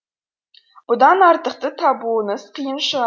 бұдан артықты табуыңыз қиын